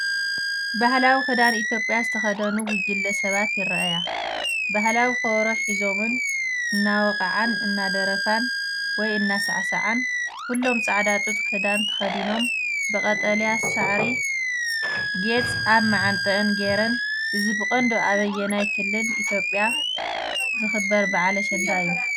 ባህላዊ ክዳን ኢትዮጵያ ዝተኸድኑ ጉጅለ ሰባት ይረኣያ። ባህላዊ ከበሮ ሒዞምን እናሃወቕዓን፡ እናደረፋን ወይ እናሳዕሳዓን። ኩሎም ጻዕዳ ጡጥ ክዳን ተኸዲኖም ብቀጠልያ ሳዕሪ ጌጽ ኣብ ማዓንጠአን ገይረን፤ እዚ ብቐንዱ ኣብ ኣየናይ ክልል ኢትዮጵያ ዝኽበር በዓል ኣሸንዳ እዩ?